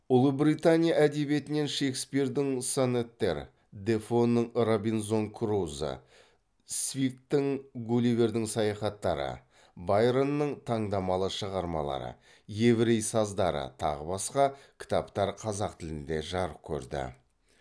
ұлыбритания әдебиетінен шекспирдің сонеттер дефоның робинзон крузо свифттің гулливердің саяхаттары байронның таңдамалы шығармалары еврей саздары тағы басқа кітаптар қазақ тілінде жарық көрді